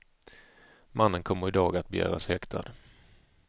Mannen kommer i dag att begäras häktad.